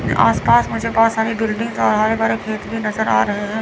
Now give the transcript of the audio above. आस पास मुझे बहुत सारे बिल्डिंग और हरे भरे खेत भी नजर आ रहे हैं।